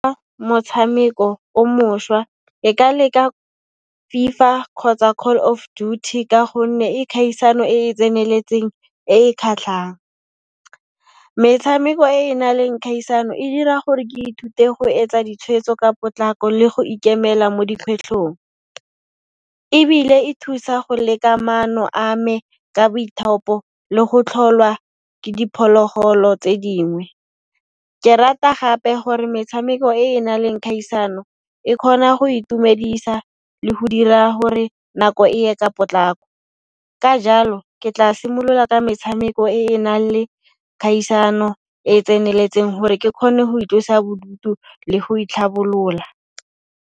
Motshameko o mošwa e ka leka FIFA kgotsa Call of Duty ka gonne e khaisano e e tseneletseng, e e khatlhang. Metshameko e e na leng kgaisano e dira gore ke ithute go etsa ditshweetso ka potlako le go ikemela mo di kgwetlhong, ebile e thusa go leka maano a me ka boithaopo le go tlholwa ke diphologolo tse dingwe. Ke rata gape gore metshameko e e na leng khaisano e khona go itumedisa le ho dira hore nako e ye ka potlako. Ka jalo, ke tla simolola ka metshameko e e nang le khaisano e e tseneletseng hore ke khone ho itlosa bodutu le go itlhabolola.